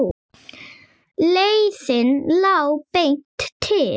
Leiðin lá beint til